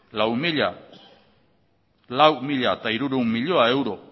lau mila hirurehun milioi euro